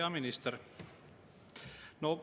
Hea minister!